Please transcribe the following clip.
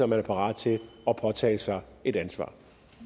man parat til at påtage sig et ansvar